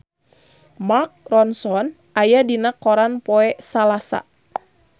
Mark Ronson aya dina koran poe Salasa